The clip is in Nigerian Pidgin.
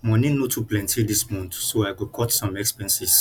money no too plenty this month so i go cut some expenses